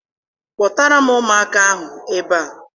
Kpọtara m ụmụaka ahụ ebe a!